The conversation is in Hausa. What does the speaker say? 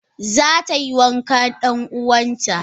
Zatayi wankan dan uwanta.